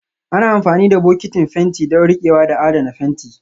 Ana amfani da bokitin fenti don riƙewa da adana fenti